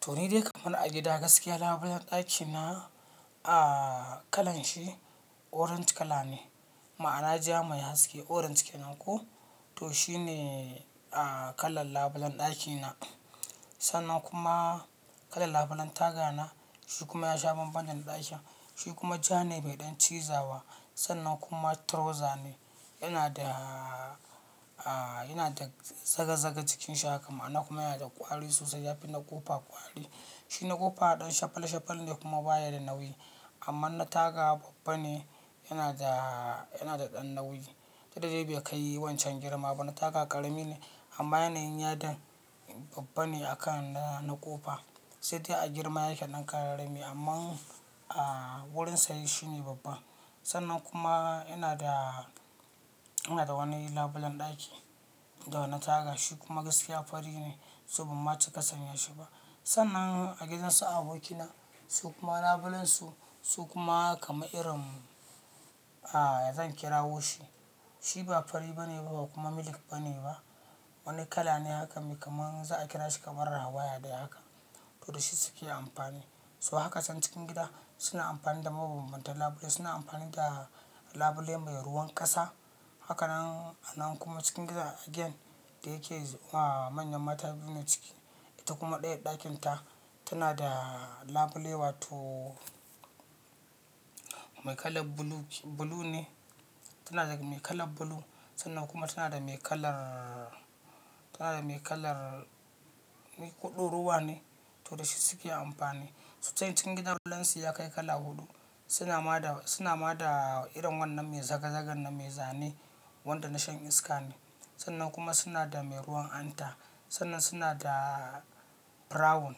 To ni dai kamar a gida gaskiya labulen ɗakina kalanshi orange kala ne, ma'ana ja mai haske orange kenan ko? To shine a kalan labulen ɗakina. Sannan kuma kalan labulen tagana shi kuma ya sha bamban dana ɗakin. Shi kuma ja ne bai ɗan cizawa. Sannan kuma trauza ne yana da, a yana da zaga-zaga jikin shi haka ma'ana kuma yana da kwari sosai yafi na kofa kwari. Shina kofa ɗan shafal-shafal ne kuma baya da nauyi amma na taga babba ne yana da, yana da ɗan nauyi. Dakda dai bai kai wancan girma ba, na taga karami ne amma yanayin yadin babba ne akan na kofa. Sai dai a girma yake ɗan ƙararrami amman a wurin saye shi ne babba. Sannan kuma ina da, ina da wani labulen ɗaki da na taga shi kuma gaskiya fari ne, so ban ma cika sanyashi ba. Sannan a gidansu abokina su kuma labulansu su kuma kaman irin, ya zan kirawo shi. Shi ba fari bane ba kuma milk bane ba. Wani kala ne haka mai kamar za a kira shi kamar rawaya dai haka. To da shi suke amfani. So haka can cikin gida suna amfani da mabanbantan labule suna amfani da labule mai ruwan ƙasa. Hakanan a nan kuma cikin gidan again, da yake manyan mata biyu ne ciki ita kuma ɗayar ɗakinta tana da labule wato mai kalar blue, blue ne tana da mai kalar blue. Sannan kuma tana da mai kalar, tana da mai kalan ko doruwa ne to da shi suke amfani. Su can cikin gidan labulansu ya kai kala huɗu suna ma da, suna ma da irin wannan mai zagazagan nan mai zane wanda na shan iska ne. Sannan kuma suna da mai ruwan hanta sannan suna da brown.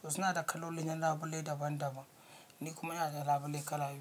So suna da kalolin labule daban daban. Ni kuma ina da labule kala biyu.